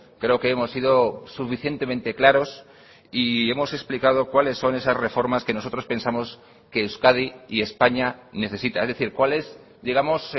creo que hemos sido suficientemente claros y hemos explicado cuáles son esas reformas que nosotros pensamos que euskadi y españa necesita es decir cuál es digamos